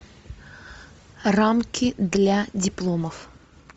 рамки для дипломов